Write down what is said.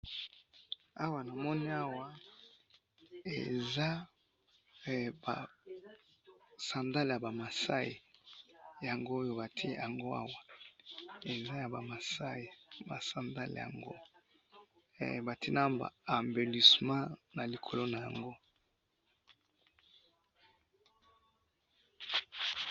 Awa namoni awa, eza, eh! ba sandale yabamasayi, yango oyo batye yango awa, eza yabamasayi, ba sandale yango, eh! Batye naba ambelissement nalikolo nayango.